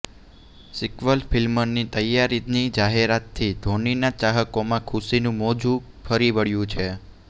sequel ફિલ્મની તૈયારીની જાહેરાતથી ધોનીના ચાહકોમાં ખુશીનુ મોજુ ફરી વળ્યુ છે